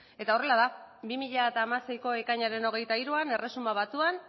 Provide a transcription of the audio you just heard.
eta horrela da bi mila hamaseiko ekainaren hogeita hiruan erresuma batuak